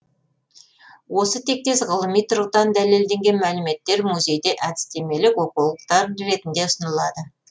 осы тектес ғылыми тұрғыдан дәлелденген мәліметтер музейде әдістемелік оқулықтар ретінде ұсынылады